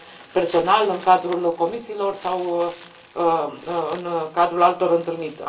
personal, în cadrul comisiilor sau în cadrul altor întâlniri.